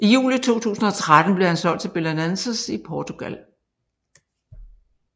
I juli 2013 blev han solgt til Belenenses i Portugal